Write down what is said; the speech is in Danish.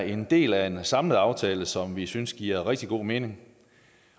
en del af en samlet aftale som vi synes giver rigtig god mening